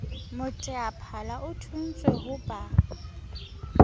moteaphala o thontswe ho ba